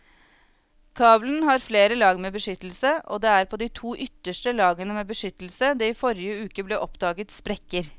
Kabelen har flere lag med beskyttelse og det er på de to ytterste lagene med beskyttelse det i forrige uke ble oppdaget sprekker.